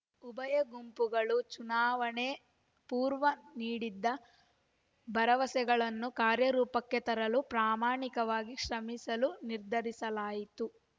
ಉಭಯ ಗುಂಪುಗಳು ಚುನಾವಣೆ ಪೂರ್ವ ನೀಡಿದ್ದ ಭರವಸೆಗಳನ್ನು ಕಾರ್ಯರೂಪಕ್ಕೆ ತರಲು ಪ್ರಾಮಾಣಿಕವಾಗಿ ಶ್ರಮಿಸಲು ನಿರ್ಧರಿಸಲಾಯಿತು